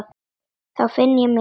Þá finn ég mig.